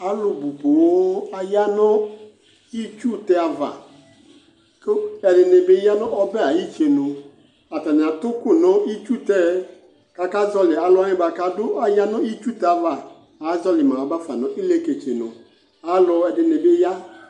Alʋ bʋ poo aya nʋ itsutɛ ava kʋ ɛdɩnɩ bɩ ya nʋ ɔbɛ ayʋ itsenu Atannɩ atʋ ʋkʋ nʋ iysutɛ yɛ kʋ akazɔɣɔlɩ alʋ wanɩ kʋ adʋ aya nʋ itsutɛ ava azɔɣɔlɩ ma ba fa nʋ ileketsenu Alʋɛdɩnɩ bɩ ya